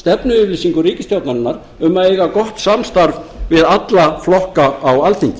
stefnuyfirlýsingu ríkisstjórnarinnar um að eiga gott samstarf við alla flokka á alþingi